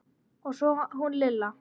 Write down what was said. Og svo hún Lilla.